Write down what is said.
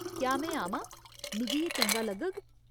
क्या में आमां ? मिगी एह् चंगा लग्गग।